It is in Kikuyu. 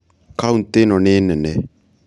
kaũntĩ ĩno nĩ nene